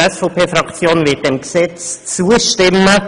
Auch die SVP-Fraktion wird diesem Gesetz zustimmen.